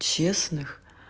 честных